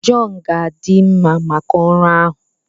John ga-adị mma maka ọrụ ahụ